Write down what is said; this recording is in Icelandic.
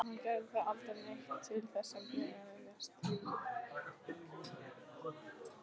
En hann gerir aldrei neitt til þess að geðjast því.